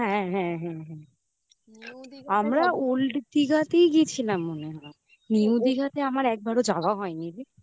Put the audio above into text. হ্যাঁ হ্যাঁ আমরা old দিঘাতেই গেছিলাম মনে হয়। new দীঘাতে আমার একবারও যাওয়া হয়নি রে।